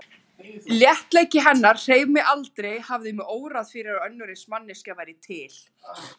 Léttleiki hennar hreif mig, aldrei hafði mig órað fyrir að önnur eins manneskja væri til.